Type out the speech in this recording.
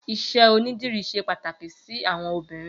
Iṣẹ ónidìrí ṣé pàtáki si awọn óbìrín